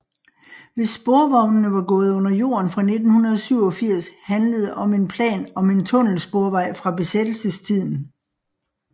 Hvis sporvognene var gået under jorden fra 1987 handlede om en plan om en tunnelsporvej fra besættelsestiden